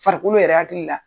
Farikolo yɛrɛ hakili la